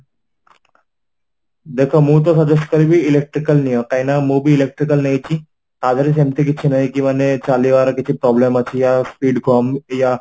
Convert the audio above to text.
ଦେଖ ମୁଁ ତ suggest କହିବି electrical ନିଅ କାଇଁ ନା ମୁଁ ବି electrical ନେଇଛି ତା ଧୀରେ ସେମିତି କିଛି ନାହିଁ କି ମାନେ ଚାଲିବାର କିଛି problem ଅଛି ଆ speed କମ ଆ